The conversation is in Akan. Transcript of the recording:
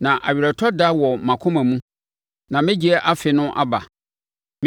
Na aweretɔ da wɔ mʼakoma mu na me gyeɛ afe no aba.